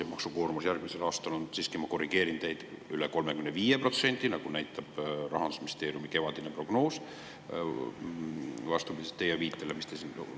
Ja maksukoormus järgmisel aastal on, siiski ma korrigeerin teid, üle 35%, nagu näitab Rahandusministeeriumi kevadine prognoos vastupidiselt teie siinsele viitele.